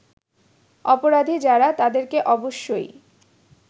অপরাধী যারা তাদেরকে অবশ্যই